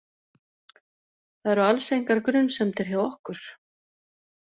Það eru alls engar grunsemdir hjá okkur.